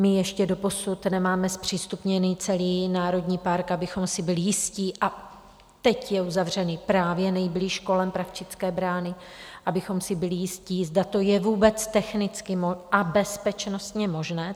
My ještě doposud nemáme zpřístupněný celý národní park, abychom si byli jistí - a teď je uzavřený právě nejblíž kolem Pravčické brány - abychom si byli jistí, zda to je vůbec technicky a bezpečnostně možné.